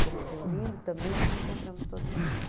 Fomos reunindo e também nos encontramos todos os meses.